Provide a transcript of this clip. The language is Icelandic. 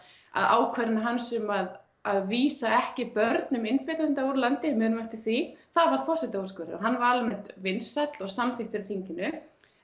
að ákvarðanir hans um að að vísa ekki börnum innflytjenda úr landi við munum eftir því það var forsetaúrskurður og hann var almennt vinsæll og samþykkur á þinginu